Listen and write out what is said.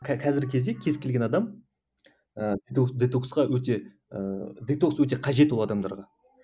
кәзіргі кезде кез келген адам ыыы детокс детоксқа өте ыыы детокс өте кажет ол адамдарға